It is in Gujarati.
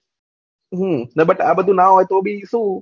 હમમ આ બધું ના હોય ભી શું